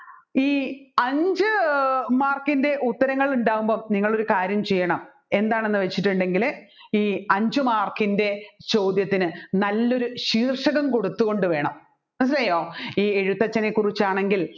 ഈ അഞ്ചു mark ൻറെ ഉത്തരങ്ങൾ ഉണ്ടാവുന്നപ്പോൾ നിങ്ങൾ ഒരു കാര്യം ചെയ്യണം എന്താണെന്ന് വെച്ചിട്ടുണ്ടെങ്കിൽ ഈ അഞ്ചു mark ൻറെ ചോദ്യത്തിന് നല്ലൊരു ശീർഷകം കൊടുത്ത്തുകൊണ്ട് വേണം മനസ്സിലായോ ഈ എഴുത്തച്ഛനെ കുറിച്ചാണെങ്കിൽ